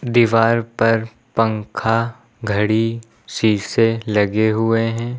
दीवार पर पंखा घड़ी शीशे लगे हुए हैं।